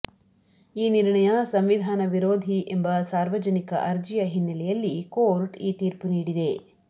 ಈ ನಿರ್ಣಯ ಸಂವಿಧಾನ ವಿರೋಧಿ ಎಂಬ ಸಾರ್ವಜನಿಕ ಅರ್ಜಿಯ ಹಿನ್ನಲೆಯಲ್ಲಿ ಕೋರ್ಟ್ ಈ ತೀರ್ಪು ನೀಡಿದೆ